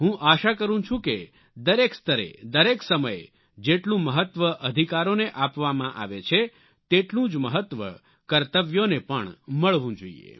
હું આશા કરું છું કે દરેક સ્તરે દરેક સમયે જેટલું મહત્વ અધિકારોને આપવામાં આવે છે તેટલું જ મહત્વ કર્તવ્યોને પણ મળવું જોઈએ